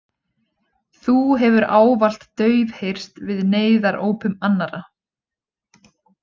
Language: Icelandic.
Þú hefur ávallt daufheyrst við neyðarópum annarra.